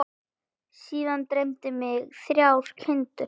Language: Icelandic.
Síðast dreymdi mig þrjár kindur.